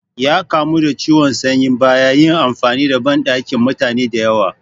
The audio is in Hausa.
Ya kamu da ciwon sanyi bayan yin amfani da banɗakin mutane da yawa